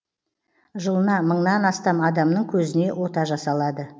жылына мыңнан астам адамның көзіне ота жасалады